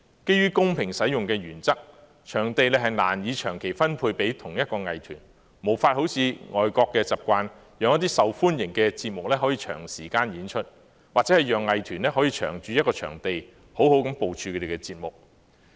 基於公平使用的原則，場地難以長期分配給同一藝團，無法好像外國的習慣，讓一些受歡迎的節目可以長時間演出，或者讓藝團可以長駐一個場地，好好部署他們的節目。